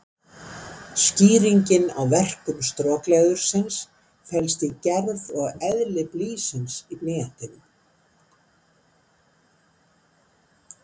Skýringin á verkun strokleðursins felst í gerð og eðli blýsins í blýantinum.